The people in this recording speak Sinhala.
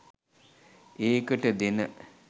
ඒකට දෙන